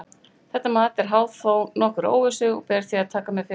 Þetta mat er háð þó nokkurri óvissu og ber því að taka með fyrirvara.